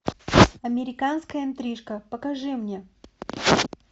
американская интрижка покажи мне